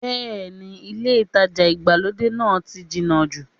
Bẹ́ẹ̀ni ilé ìtajà ìgbàlódé náà ti jìnà jù